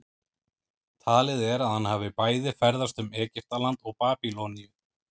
talið er að hann hafi bæði ferðast um egyptaland og babýloníu